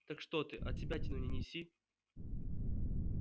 так что ты отсебятину не неси